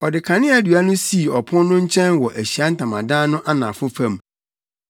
Ɔde kaneadua no sii ɔpon no nkyɛn wɔ Ahyiae Ntamadan no anafo fam.